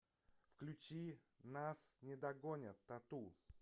включи нас не догонят тату